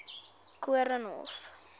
koornhof